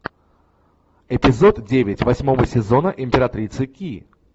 эпизод девять восьмого сезона императрицы ки